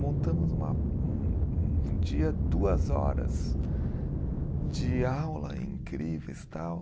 Montamos uma, um um dia, duas horas de aula incríveis, tal.